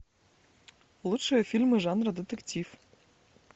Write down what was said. лучшие фильмы жанра детектив